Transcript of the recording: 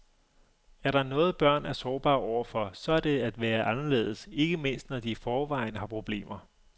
Er der noget børn er sårbare overfor, så er det det at være anderledes, ikke mindst når de i forvejen har problemer.